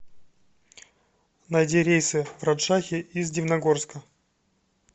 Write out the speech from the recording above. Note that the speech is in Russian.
найди рейсы в раджшахи из дивногорска